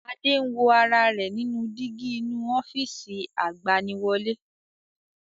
Adé ń wo ara rẹ̀ nínú dígí inú ofiisi agbaniwọlẹ́